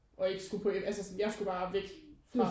Og ikke skulle på en altså sådan jeg skulle bare væk fra